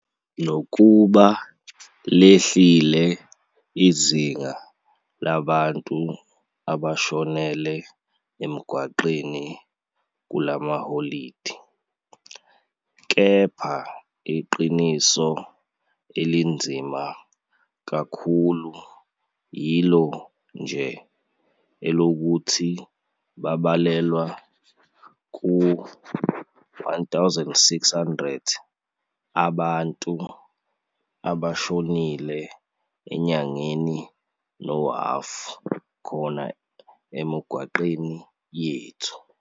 Nokuba lehlile izinga labantu abashonele emgwaqweni kula maholide, kepha iqiniso elinzima kakhulu yilo nje elokuthi babalelwa kwi-1,600 abantu abashonile enyangeni nohhafu khona emigwaqweni yethu.